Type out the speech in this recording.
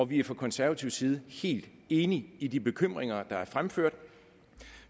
vi er fra konservativ side helt enige i de bekymringer der er fremført